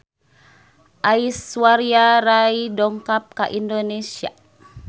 Aishwarya Rai dongkap ka Indonesia